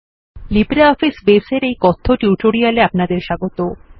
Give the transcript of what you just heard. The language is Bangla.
লিব্রিঅফিস Base এর এই কথ্য টিউটোরিয়ালে আপনাদের স্বাগত